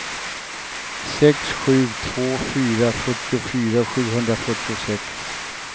sex sju två fyra fyrtiofyra sjuhundrafyrtiosex